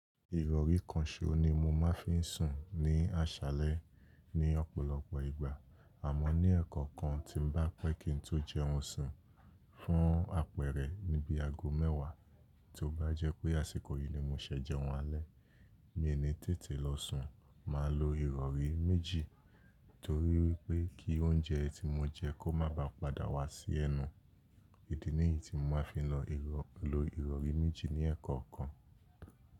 Ìrọ̀rí kan ṣo ní mo máa ń fi sùn ní àṣálẹ́ ní ọ̀pọ̀lọpọ̀ ìgbà, àmọ́ ní ẹ̀ẹ̀kọ̀kan tí mo bá pẹ́ kí n tó jẹun sùn fún àpẹẹrẹ níbi ago mẹ́wàá, tó bá jẹ́ pé àsìkò yìí ni mo ṣẹ̀ jẹun alẹ́, mi ò ní tètè lọ sùn, màá lo ìrọ̀rí méjì torí wípé kí oúnjẹ tí mo jẹ kó má ba padà wá sí ẹnu. Idí nìyí tí mo máa fi lo ìrọ̀rí méjì ní ẹ̀ẹ̀kọ̀kan.